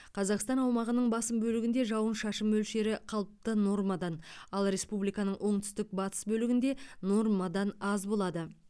қазақстан аумағының басым бөлігінде жауын шашын мөлшері қалыпты нормадан ал республиканың оңтүстік батыс бөлігінде нормадан аз болады